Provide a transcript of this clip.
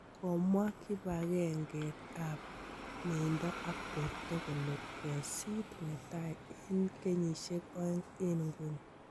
Komwaa kibangenge ab miendio ab borto kole kesiit netai en keyisiek ooeng' en inguni.